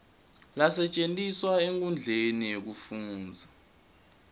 lasetjentiswa enkhundleni yekufundza